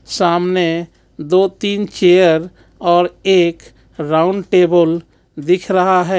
सामने दो तीन चेयर और एक राउंड टेबल दिख रहा हे.